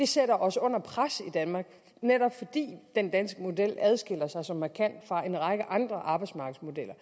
sætter os under pres i danmark netop fordi den danske model adskiller sig så markant fra en række andre arbejdsmarkedsmodeller